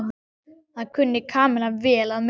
Það kunni Kamilla vel að meta.